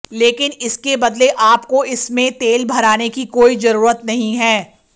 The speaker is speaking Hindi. लेकिन इसके बदले आपको इसमें तेल भराने की कोई जरूरत नहीं है